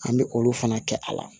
An bɛ olu fana kɛ a la